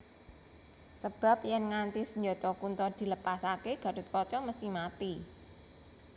Sebab yèn nganti senjata Kunta dilepasaké Gathotkaca mesthi mati